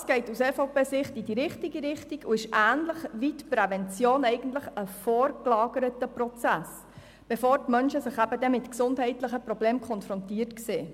Dies geht aus EVP-Sicht in die richtige Richtung und ist ähnlich wie die Prävention eigentlich ein vorgelagerter Prozess, der stattfinden soll, bevor die Menschen sich mit gesundheitlichen Problemen konfrontiert sehen.